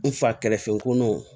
N fa kɛrɛfɛ ko nɔnɔw